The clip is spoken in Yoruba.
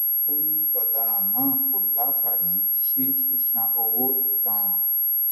ó ní ọdaràn náà kò láǹfààní sí sísan owó ìtanràn